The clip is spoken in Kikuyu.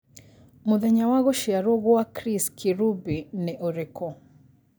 mũthenya wa gũcĩarwo gwa Chris Kirubi ni ũrĩkũ